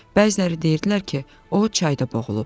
Bəziləri deyirdilər ki, o çayda boğulub.